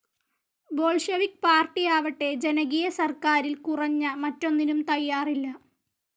Bolshevik പാർട്ടിയാവട്ടെ ജനകീയ സർക്കാരിൽ കുറഞ്ഞ മറ്റൊന്നിനും തയ്യാറില്ല.